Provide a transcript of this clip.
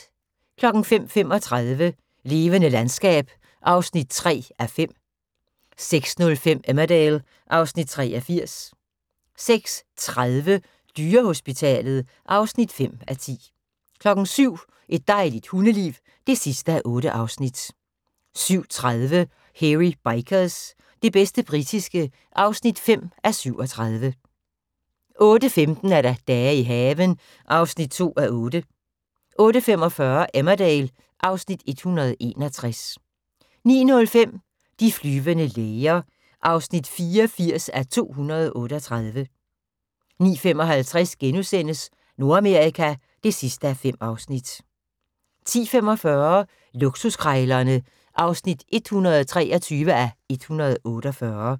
05:35: Levende landskab (3:5) 06:05: Emmerdale (Afs. 83) 06:30: Dyrehospitalet (5:10) 07:00: Et dejligt hundeliv (8:8) 07:30: Hairy Bikers – det bedste britiske (5:37) 08:15: Dage i haven (2:8) 08:45: Emmerdale (Afs. 161) 09:05: De flyvende læger (84:238) 09:55: Nordamerika (5:5)* 10:45: Luksuskrejlerne (123:148)